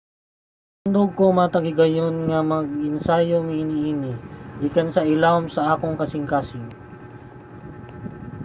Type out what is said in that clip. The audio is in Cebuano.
"matandog ko matag higayon nga mag-ensayo mi niini gikan sa ilawom sa akong kasingkasing.